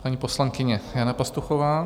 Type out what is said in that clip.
Paní poslankyně Jana Pastuchová.